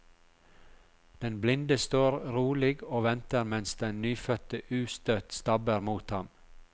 Den blinde står rolig og venter mens den nyfødte ustøtt stabber mot ham.